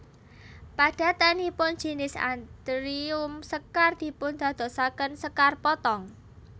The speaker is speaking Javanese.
Padatanipun jinis anthurium sekar dipundadosaken sekar potong